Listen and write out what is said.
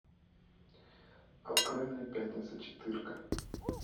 открой мне пятница четырка